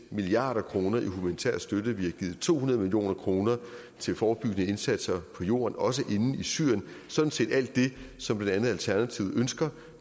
milliard kroner i humanitær støtte vi har givet to hundrede million kroner til forebyggende indsatser på jorden også inde i syrien sådan set alt det som blandt andet alternativet ønsker